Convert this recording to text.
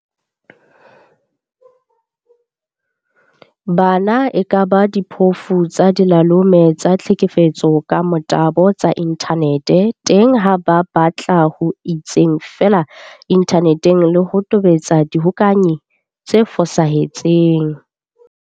Bana e kaba diphofu tsa dilalome tsa tlhekefetso ka motabo tsa inthane teng ha ba batla ho itseng feela inthaneteng le ho tobetsa lehokanyi le fosahetseng.